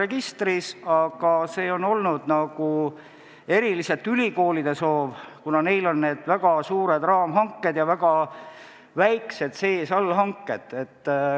See muudatus on olnud eelkõige ülikoolide soov, kuna neil on väga suured raamhanked ja väga väikesed allhanked.